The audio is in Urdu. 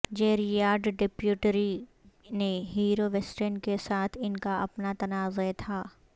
جیریارڈ ڈپٹیریو نے ہیرو ویسٹین کے ساتھ ان کا اپنا تنازعہ تھا